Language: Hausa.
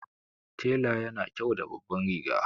Tela yana kyau da babban riga